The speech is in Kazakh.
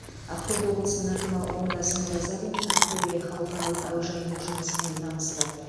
ақтөбе облысының әкімі оңдасын оразалин ақтөбе халықаралық әуежайының жұмысымен танысты